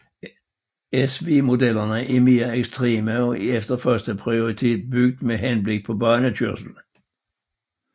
SV modellerne er mere ekstreme og er efter første prioritet bygget med henblik på banekørsel